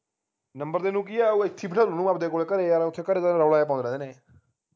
number ਦੇਣ ਨੂੰ ਕਿ ਹੈ ਉਹ ਇਥੇ ਹੀ ਬਿਠਾ ਲੂ ਆਪਦੇ ਕੋਲੇ ਘਰੇ ਯਾਰ ਓਥੇ ਘਰੇ ਤਾ ਰੋਲਾ ਜਾ ਪੈਣਾ ਇਹਨੇ